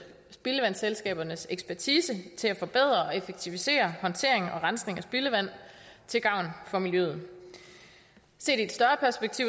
spildevandsselskabernes ekspertise til at forbedre og effektivisere håndtering og rensning af spildevand til gavn for miljøet set